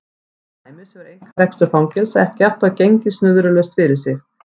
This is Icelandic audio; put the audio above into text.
Til dæmis hefur einkarekstur fangelsa ekki alltaf gengið snurðulaust fyrir sig.